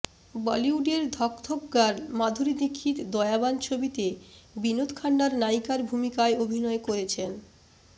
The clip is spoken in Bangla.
বলিউডের ধকধক গার্ল মাধুরী দীক্ষিত দয়াবান ছবিতে বিনোদ খান্নার নায়িকার ভূমিকায় অভিনয় করেছেন